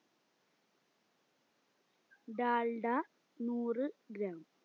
ഡാൽഡ നൂറ് gram